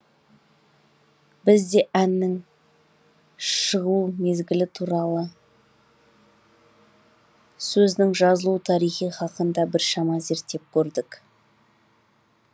біз де әннің шығу мезгілі туралы сөзінің жазылу тарихы хақында біршама зерттеп көрдік